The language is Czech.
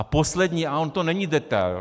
A poslední, ale on to není detail.